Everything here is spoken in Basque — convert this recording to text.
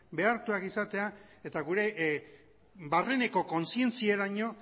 behartuak izatea eta gure barreneko kontzientziaraino